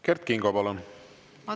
Kert Kingo, palun!